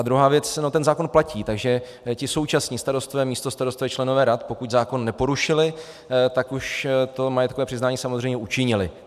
A druhá věc - ten zákon platí, takže ti současní starostové, místostarostové, členové rad, pokud zákon neporušili, tak už to majetkové přiznání samozřejmě učinili.